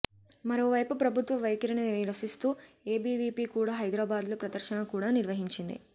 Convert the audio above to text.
మరోవైపు ప్రభుత్వ వైఖరిని నిరసిస్తూ ఏబీవీపీ కూడా హైదరాబాద్లో ప్రదర్శన కూడా నిర్వహించింది